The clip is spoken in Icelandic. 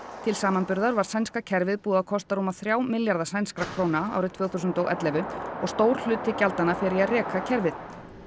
til samanburðar var sænska kerfið búið að kosta rúma þrjá milljarða sænskra króna árið tvö þúsund og ellefu og stór hluti gjaldanna fer í að reka kerfið